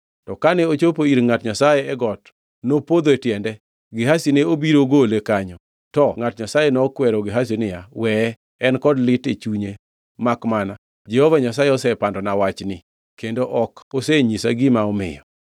To kane ochopo ir ngʼat Nyasaye e got, nopodho e tiende, Gehazi ne obiro gole kanyo, to ngʼat Nyasaye nokwero Gehazi niya, Weye! En kod lit e chunye, makmana Jehova Nyasaye osepandona wachni kendo ok osenyisa gima omiyo.